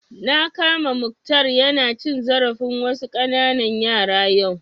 Na kama Mukhtar ya na cin zarafin wasu ƙananan yara yau